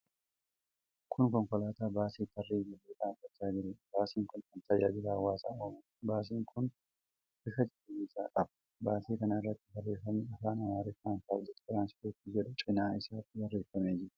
Kuni konkolaataa baasii tarree galee dhaabbachaa jirudha. Baasiin kun kan tajaajila hawaasaa ooludha. Baasiin kun bifa cuquliisa qaba. Baasii kana irratti barreefami Afaan Amaariffaan "paablik tiraanspoort" jedhu cinaa isaatti barreefamee jira.